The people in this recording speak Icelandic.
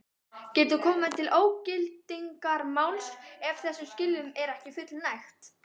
Getur komið til ógildingarmáls ef þessum skilyrðum er ekki fullnægt.